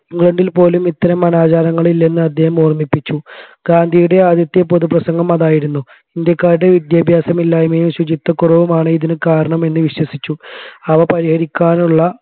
ഇംഗ്ലണ്ടിൽ പോലും ഇത്തരം അനാചാരങ്ങൾ ഇല്ലെന്ന് അദ്ദേഹം ഓർമിപ്പിച്ചു ഗാന്ധിയുടെ ആദ്യത്തെ പൊതുപ്രസംഗം അതായിരുന്നു ഇന്ത്യക്കാരുടെ വിദ്യാഭ്യാസമില്ലായ്മയും ശുചിത്വക്കുറവുമാണ് ഇതിന് കാരണമെന്ന് വിശ്വസിച്ചു